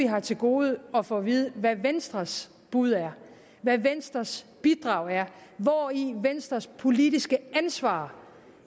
har til gode at få at vide hvad venstres bud er hvad venstres bidrag er hvori venstres politiske ansvar